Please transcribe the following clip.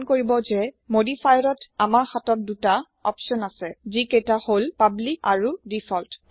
মন কৰিব যে মোদিফায়াৰত আমাৰ হাতত দুটা অপচন আছে যি কেইটা হল পাব্লিক আৰু ডিফল্ট